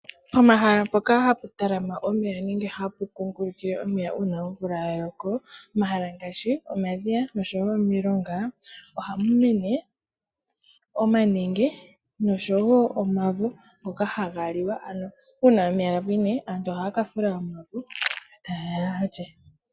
Po mahala mpoka hapu talama nenge hapu kungulukile omeya uuna omvula ya loko, omahala ngaashi omadhiya, nosho wo omilonga, ohamu mene omanenge, noshowo omavo, ngoka haga liwa, ano uuna omeya ga pwine, aantu ohaya ka fula omavo, eta yeya yalye.